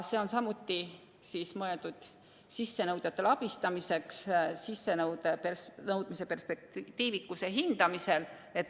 See on mõeldud sissenõudjate abistamiseks sissenõude perspektiivikuse hindamisel.